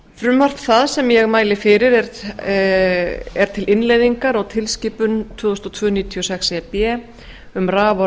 frumvarp það sem ég mæli fyrir er til innleiðingar á tilskipun tvö þúsund og tvö níutíu og sex e b um raf og